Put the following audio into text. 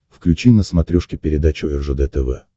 включи на смотрешке передачу ржд тв